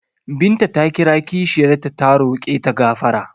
Binta ta kira kishiyar ta ta roƙe ta gafara.